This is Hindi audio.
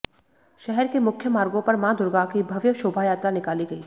शहर के मुख्य मार्गो पर माँ दुर्गा की भव्य शोभायात्रा निकाली गयी